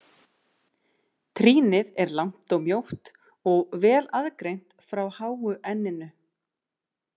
Trýnið er langt og mjótt og vel aðgreint frá háu enninu.